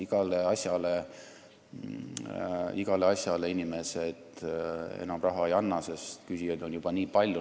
Iga asja jaoks inimesed enam raha ei anna, sest küsijaid on juba nii palju.